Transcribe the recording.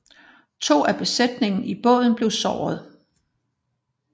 To af besætningen i båden blev såret